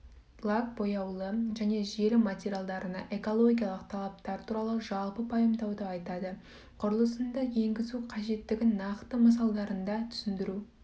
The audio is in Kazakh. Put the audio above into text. лак бояулы және желім материалдарына экологиялық талаптар туралы жалпы пайымдауды айтады құрылысында енгізу қажеттігінің нақты мысалдарында түсіндіру